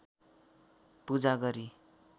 पूजा गरी